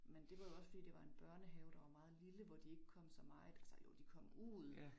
Men det var jo også fordi det var en børnehave, der var meget lille, hvor de ikke kom så meget, altså jo de kom ud